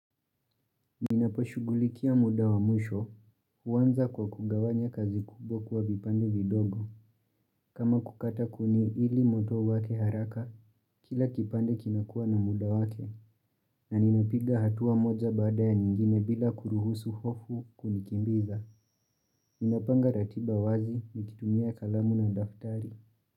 Ninaposhugulikia muda wa mwisho, huwanza kwa kugawanya kazi kubwa kuwa vipande vidogo. Kama kukata kuni ili moto uwake haraka, kila kipande kinakua na muda wake, na ninapiga hatua moja baada ya nyingine bila kuruhusu hofu kunikimbiza. Ninapanga ratiba wazi nikitumia kalamu na daftari.